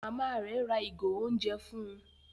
Màmá rẹ rà ìgò oúnjẹ fún